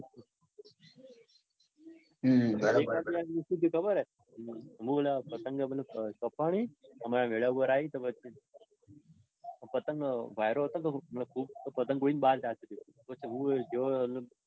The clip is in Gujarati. હમ એક વાર શું થયું હે ખબર છે હું મતલબ પતંગ કપણી અને અમર મેધા ઉપર આવી તો પછી પતંગ વાયરો હતો ને મતલબ પતંગ ઉડીને બાર જાતિ તી. તો પછી હું ગયો.